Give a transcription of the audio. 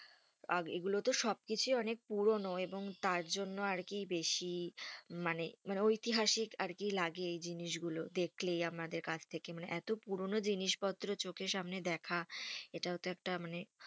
আর এগুলো তো সব কিছুই অনেক পুরোনো এবং তার জন্য আর কি বেশি মানে মানে ঐতিহাসিক আরকি লাগে এই জিনিস গুলো দেখলেই আমাদের কাছ থেকে মানে এতো পুরোনো জিনিস পত্র চোখের সামনে দেখা এটাও তো একটা মানে,